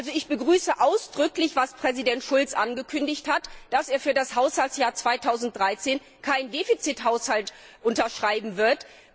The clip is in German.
Also ich begrüße ausdrücklich, was Präsident Schulz angekündigt hat, dass er für das Haushaltsjahr 2013 keinen Defizithaushalt unterschreiben wird.